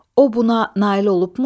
O buna nail olubmu?